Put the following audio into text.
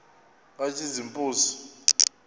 katshazimpuzi